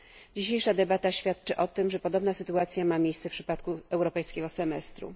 Dzisiejsza debata świadczy o tym, że podobna sytuacja ma miejsce w przypadku europejskiego semestru.